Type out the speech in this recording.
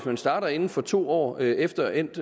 man starter inden for to år efter endt